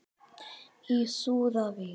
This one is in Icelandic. Í súðavík